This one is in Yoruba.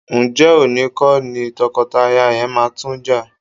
Ǹjẹ́ òní kọ́ ni tọkọtaya yẹn máa tún jà?